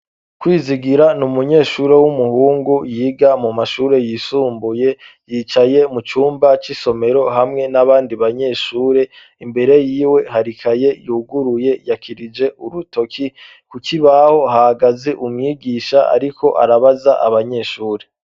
Kwizigira ni umunyeshuri w'umuhungu yiga mu mashure yisumbuye, yicaye mu cumba c'isomero hamwe n'abandi banyeshure, imbere y'iwe hari kaye yuguruye yakirije urutoki, ku kibaho hahagaze umwigisha ariko arabaza abanyeshure.